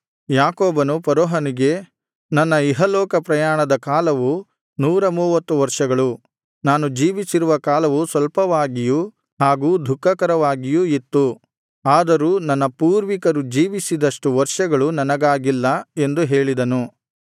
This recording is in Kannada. ಯಾಕೋಬನು ಫರೋಹನಿಗೆ ನನ್ನ ಇಹಲೋಕ ಪ್ರಯಾಣದ ಕಾಲವು ನೂರಮೂವತ್ತು ವರ್ಷಗಳು ನಾನು ಜೀವಿಸಿರುವ ಕಾಲವು ಸ್ವಲ್ಪವಾಗಿಯೂ ಹಾಗೂ ದುಃಖಕರವಾಗಿಯೂ ಇತ್ತು ಆದರೂ ನನ್ನ ಪೂರ್ವಿಕರು ಜೀವಿಸಿದಷ್ಟು ವರ್ಷಗಳು ನನಗಾಗಿಲ್ಲ ಎಂದು ಹೇಳಿದನು